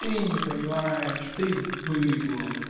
ты не понимаешь ты быдло